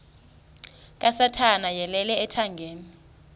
kasathana yeyele ethangeni